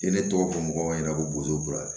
Ni ne tɔgɔ ko mɔgɔ ɲɛna ko bozo b'a la